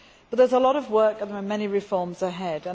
There is a lot of work and many reforms ahead.